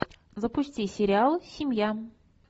запусти сериал семья